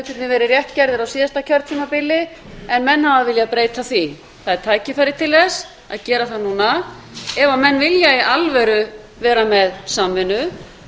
hlutirnir verið rétt gerðir á síðasta kjörtímabili en menn hafa viljað breyta því það er tækifæri til þess að gera það núna ef menn vilja í alvöru vera með samvinnu við